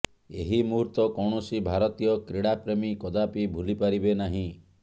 ଏହି ମୁହୂର୍ତ୍ତ କୌଣସି ଭାରତୀୟ କ୍ରୀଡ଼ାପ୍ରେମୀ କଦାପି ଭୁଲିପାରିବେ ନାହିଁ